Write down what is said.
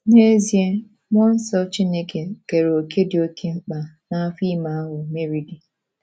N’ezie, mmụọ nsọ Chineke keere òkè dị oké mkpa n’afọ ime ahụ Meri dị.